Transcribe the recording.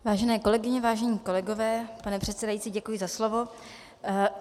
Vážené kolegyně, vážení kolegové, pane předsedající, děkuji za slovo.